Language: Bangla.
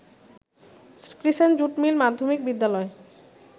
ক্রিসেন্ট জুট মিল মাধ্যমিক বিদ্যালয়